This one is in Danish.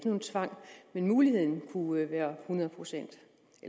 nogen tvang men muligheden kunne være hundrede procent